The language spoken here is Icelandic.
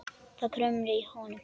Það kumraði í honum.